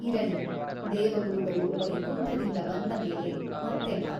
ಇರಲಿ ದೇವಗುರುಗಳು ವೈಕುಂಠದಿಂದ ಬಂದ ಮೇಲೆ ಮತ್ತೆ ಬಾ.